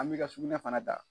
An m'i ka sugunɛ fana ta.